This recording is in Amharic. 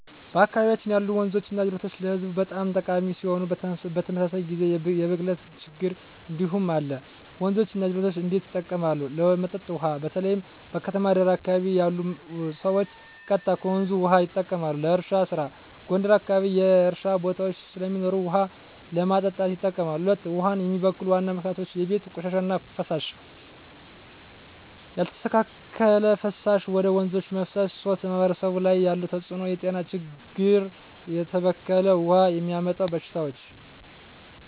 በአካባቢያችን ያሉ ወንዞችና ጅረቶች ለህዝቡ በጣም ጠቃሚ ሲሆኑ፣ በተመሳሳይ ጊዜ የብክለት ችግኝ እንዲሁም አለ። 1. ወንዞች እና ጅረቶች እንዴት ይጠቀማሉ? ለመጠጥ ውሃ: በተለይ በከተማ ዳር አካባቢ ያሉ ሰዎች ቀጥታ ከወንዞች ውሃ ይጠቀማሉ። ለእርሻ ስራ: ጎንደር አካባቢ የእርሻ ቦታዎች ስለሚኖሩ ውሃ ለማጠጣት ይጠቀማሉ። 2. ውሃን የሚበክሉ ዋና ምክንያቶች የቤት ቆሻሻ እና ፍሳሽ: ያልተስተካከለ ፍሳሽ ወደ ወንዞች መፍሰስ 3. በማህበረሰብ ላይ ያለው ተጽዕኖ የጤና ችግኝ: የተበከለ ውሃ የሚያመጣው በሽታዎች